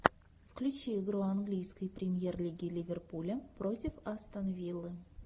включи игру английской премьер лиги ливерпуля против астон виллы